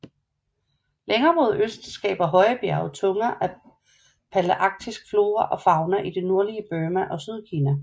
Længere mod øst skaber høje bjerge tunger af palæarktisk flora og fauna i det nordlige Burma og Sydkina